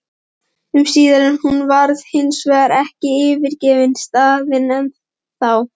um síðar, en hún hefur hinsvegar ekki yfirgefið staðinn ennþá.